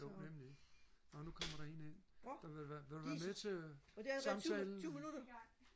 jo nemlig nå nu kommer der en ind vil du være vil du være med til samtalen